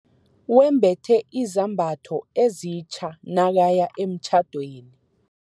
Wembethe izambatho ezitja nakaya emtjhadweni.